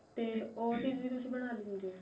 ਤੇ ਉਹ ਚੀਜ ਵੀ ਤੁਸੀਂ ਬਣਾ ਲੈਂਦੇ ਓ